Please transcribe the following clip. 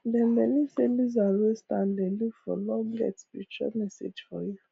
dem believe say lizard wey stand dey look for long get spiritual message for you